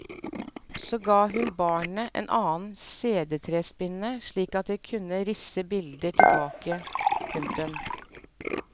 Så ga hun barnet en annen sedertrespinne slik at det kunne risse bilder tilbake. punktum